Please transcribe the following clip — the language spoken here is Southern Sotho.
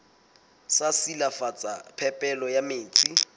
sa silafatsa phepelo ya metsi